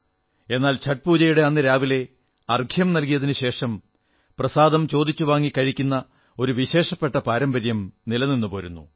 എന്നാൽ ഛഠ് പൂജയുടെ അന്നു രാവിലെ അർഘ്യം നല്കിയതിനുശേഷം പ്രസാദം ചോദിച്ചു വാങ്ങി കഴിക്കുന്ന ഒരു വിശേഷപ്പെട്ട പാരമ്പര്യം നിലനിന്നുപോരുന്നു